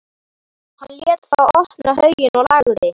Hann lét þá opna hauginn og lagði